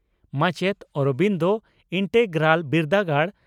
ᱢᱟᱪᱮᱛ ᱺ ᱚᱨᱚᱵᱤᱱᱫᱚ ᱤᱱᱴᱮᱜᱨᱟᱞ ᱵᱤᱨᱫᱟᱹᱜᱟᱲ